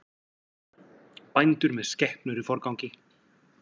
Bændur með skepnur í forgangi